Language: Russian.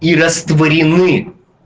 и растворены